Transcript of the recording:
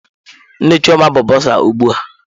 Nne Chioma bụ bọsa ugbu a.